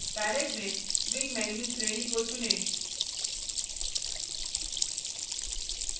palette में swing menus श्रेणी को चुनें